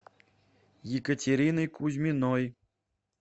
екатериной кузьминой